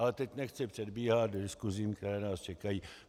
Ale teď nechci předbíhat diskusím, které nás čekají.